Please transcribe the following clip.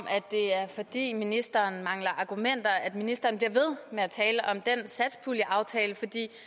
det er fordi ministeren mangler argumenter at ministeren bliver ved med at tale om den satspuljeaftale